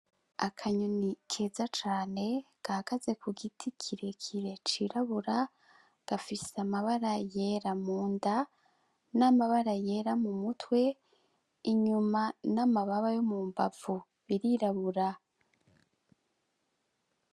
Akanyoni keza cane gagaze ku giti kirekire cirabura gafise amabara yera mu nda n'amabara yera mu mutwe inyuma n'amababa yo mu mbavu birirabura.